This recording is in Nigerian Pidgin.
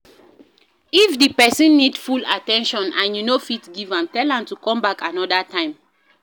If di person need full at ten tion and you no fit give am, tell am to come back anoda time